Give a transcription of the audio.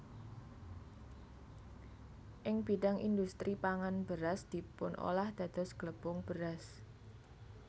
Ing bidhang indhustri pangan beras dipunolah dados glepung beras